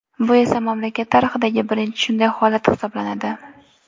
Bu esa mamlakat tarixidagi birinchi shunday holat hisoblanadi.